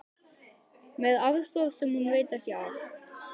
Með aðstoð sem hún veit ekki af.